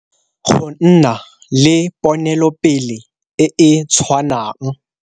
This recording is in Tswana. Go nna le ponelopele e e tshwanang.